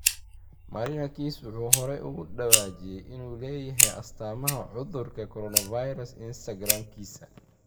Marinakis wuxuu hore uga dhawaajiyay inuu leeyahay astaamaha cudurka 'coronavirus' Instagram-kiisa.